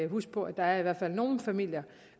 huske på at der i hvert fald er nogle familier